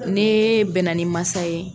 Nee bɛnna ni masa ye